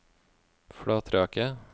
Flatraket